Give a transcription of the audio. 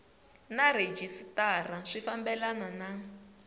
na rhejisitara swi fambelana na